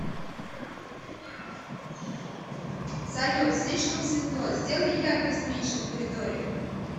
салют слишком светло сделай яркость меньше в коридоре